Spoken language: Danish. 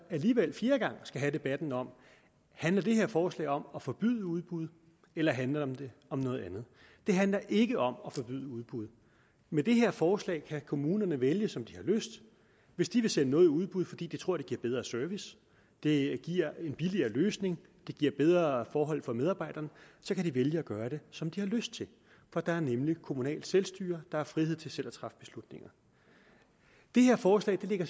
alligevel fjerde gang skal have debatten om handler det her forslag om at forbyde udbud eller handler det om noget andet det handler ikke om at forbyde udbud med det her forslag kan kommunerne vælge som de har lyst hvis de vil sende noget i udbud fordi de tror at det giver bedre service det giver en billigere løsning det giver bedre forhold for medarbejderne så kan de vælge at gøre det som de har lyst til for der er nemlig kommunalt selvstyre der er frihed til selv at træffe beslutninger det her forslag lægger